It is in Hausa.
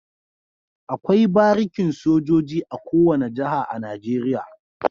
Akwai barikin sojoji a kowane jaha a nigeria